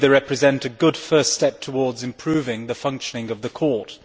I believe they represent a good first step towards improving the functioning of the Court.